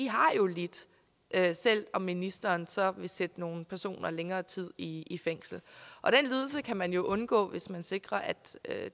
har jo lidt selv om ministeren så vil sætte nogle personer længere tid i fængsel og den lidelse kan man jo undgå hvis man sikrer at